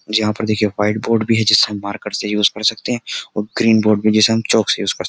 यहाँ पर देखिए वाइट बोर्ड भी है जिसे हम मार्कर से यूज कर सकते हैं और ग्रीन बोर्ड भी जिसे हम चौक से यूज कर --